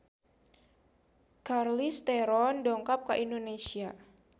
Charlize Theron dongkap ka Indonesia